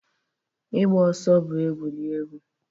Ịgba ọsọ bụ egwuregwu